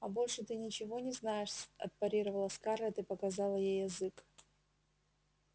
а больше ты ничего не знаешь отпарировала скарлетт и показала ей язык